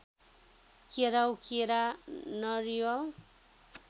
केराउ केरा नरिवल